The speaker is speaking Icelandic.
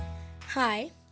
hæ